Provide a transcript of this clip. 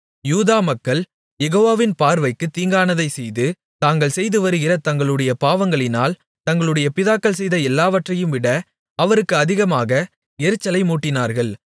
யூதா மக்கள் யெகோவாவின் பார்வைக்குத் தீங்கானதைச் செய்து தாங்கள் செய்து வருகிற தங்களுடைய பாவங்களினால் தங்களுடைய பிதாக்கள் செய்த எல்லாவற்றையும்விட அவருக்கு அதிக எரிச்சலை மூட்டினார்கள்